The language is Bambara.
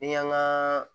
Ni y'an ka